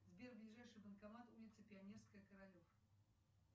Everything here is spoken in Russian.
сбер ближайший банкомат улица пионерская королев